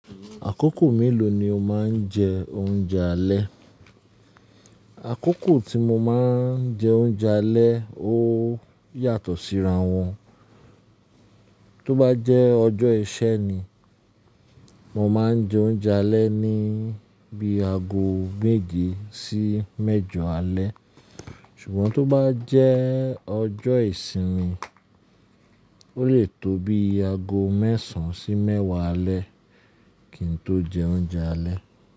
Àkókò mélòó ni o máa ń jẹ oúnjẹ alẹ́? Àkókò tí mo máa ń jẹ oúnjẹ alẹ́ ó yàtọ̀ síra wọn. Tó bá jẹ́ ọjọ́ iṣẹ́ ni, mo máa ń jẹ oúnjẹ alẹ́ ní bí i ago méje sí mẹ́jọ alẹ́. Ṣùgbọ́n tó bá jẹ́ ọjọ́ ìsinmi, ó lè tó bí i ago mẹ́sàn-án sí mẹ́wàá alẹ́ kí n tó jẹ oúnjẹ alẹ́.